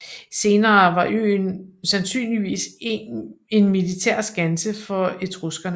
Senere var øen sandsynligvis en militær skanse for etruskerne